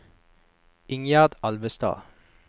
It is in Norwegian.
Ingjerd Alvestad